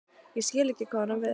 Ég skil ekki hvað hún á við.